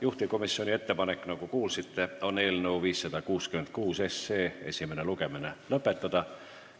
Juhtivkomisjoni ettepanek, nagu kuulsite, on eelnõu 566 esimene lugemine lõpetada.